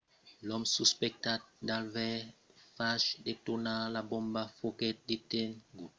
l'òme suspectat d'aver fach detonar la bomba foguèt detengut aprèp aver patit de feridas de l'explosion